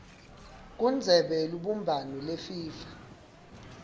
kundzebe yelubumbano yefifa